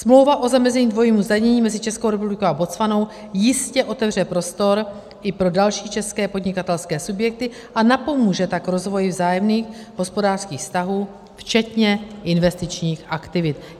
Smlouva o zamezení dvojímu zdanění mezi Českou republikou a Botswanou jistě otevře prostor i pro další české podnikatelské subjekty, a napomůže tak rozvoji vzájemných hospodářských vztahů včetně investičních aktivit.